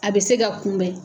A bɛ se ka kunbɛn.